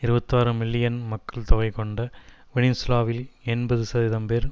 இருபத்தாறு மில்லியன் மக்கள்தொகை கொண்ட வெனிசூலாவில் எண்பது சதவீதம் பேர்